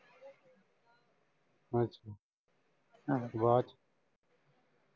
ਅੱਛਾ ਆਹੋ ਬਾਦ ਚ